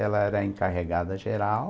Ela era encarregada geral.